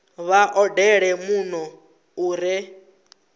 vha odele muno u re